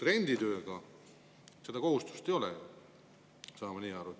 Renditöö puhul seda kohustust ei ole, ma saan nii aru.